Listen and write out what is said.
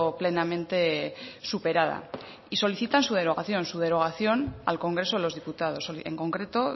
plenamente superada y solicitan su derogación su derogación al congreso de los diputados en concreto